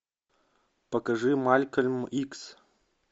покажи малькольм икс